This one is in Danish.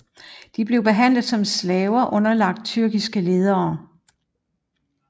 De blev behandlet som slaver underlagt tyrkiske ledere